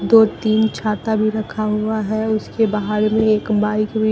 दो तीन छाता भी रखा हुआ है उसके बाहर में एक बाइक भी--